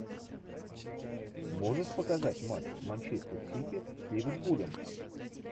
можешь показать матч манчестер сити с ливерпулем